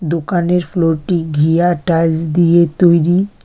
দোকানের ফ্লোর -টি ঘিয়া টাইলস দিয়ে তৈরি।